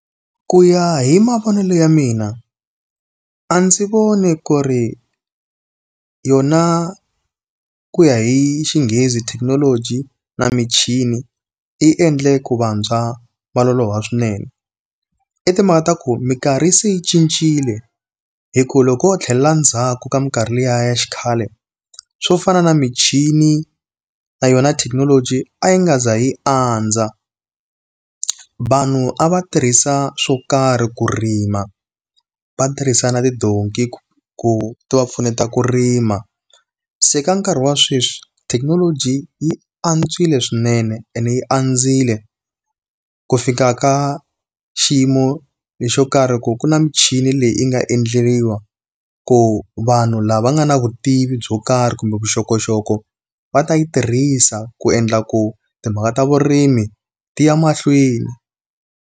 Ku ya hi mavonelo ya mina, a ndzi voni ku ri yona ku ya hi xinghezi thekinoloji na michini yi endle ku vantshwa va loloha swinene. I timhaka ta ku minkarhi se yi cincile. Hikuva loko ho tlhelela ndzhaku ka minkarhi liya ya xikhale, swo fana na michini, na yona thekinoloji a yi nga za yi andza. Vanhu a va tirhisa swo karhi ku rima, va tirhisa na tidonki ku ti va pfuneta ku rima. Se ka nkarhi wa sweswi thekinoloji yi antswile swinene ene yi andzile, ku fika ka xiyimo lexo karhi ku ku na michini leyi yi nga endleriwa ku vanhu lava nga na vutivi byo karhi kumbe vuxokoxoko, va ta yi tirhisa ku endla ku timhaka ta vurimi ti ya mahlweni.